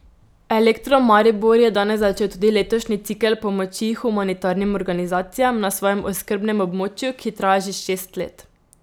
Elektro Maribor je danes začel tudi letošnji cikel pomoči humanitarnim organizacijam na svojem oskrbnem območju, ki traja že šest let.